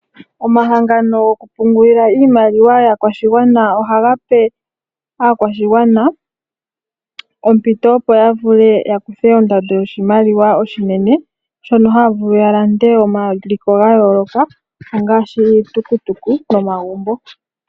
Omahangano gokupungula iimaliwa yaakwashigwana ohagape aakwashigwana ompito opo yavule yakuthe ondando yoshimaliwa oshinene shono haya vulu yalande omaliko ga yooloka ngaashi iitukutuku nomagumbo.